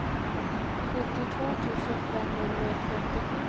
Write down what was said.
sjuttiotvå tusen femhundratrettiosju